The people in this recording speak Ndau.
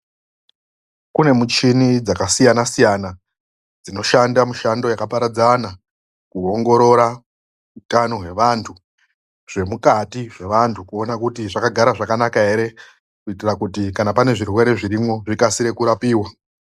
Kune muchini, dzakasiyana-siyana. Dzinoshanda mushando yakaparadzana. Kuongorora utano hwevanthu, zvemukati zvevanthu kuona kuti zvakagara zvakanaka ere, kuitira kuti pane zvirwere zvirimwo zvikase kurapiwa.